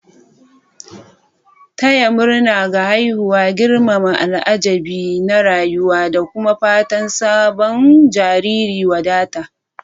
Taya murna ga haihuwa girmama al'ajabi na rayuwa da kuma fatan sabon jariri wadata.